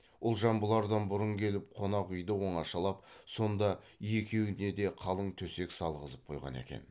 ұлжан бұлардан бұрын келіп қонақ үйді оңашалап сонда екеуіне де қалың төсек салғызып қойған екен